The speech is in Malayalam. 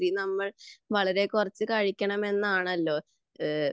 രാത്രി നമ്മൾ വളരെ കുറച്ചു കഴിക്കണം എന്നാണല്ലോ